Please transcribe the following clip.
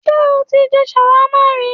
Sé o ti je shawarma ri?